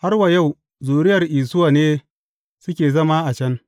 Har wa yau, zuriyar Isuwa ne suke zama a can.